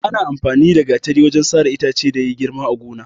Ana amfani da Gatari wajen sare itace da ya girma a gona.